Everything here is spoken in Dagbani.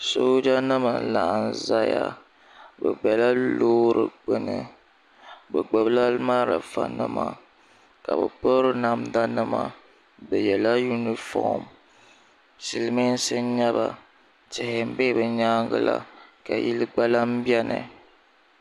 Soojanima n-laɣim zaya bɛ bela loori gbuni bɛ gbubila malifanima ka bɛ piri namdanima bɛ yɛla yunifom silimiinsi n-nyɛ ba tihi be bɛ nyaaŋa la ka yili gba lahi beni